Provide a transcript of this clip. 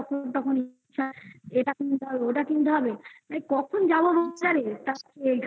যখন তখন ইচ্ছা এটা কিন্তু হবে. ওটা কিনতে হবে তাই কখন যাবো রূপসারে এইখান থেকে